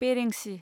बेरेंसि